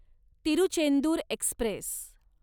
Tiruchendur Express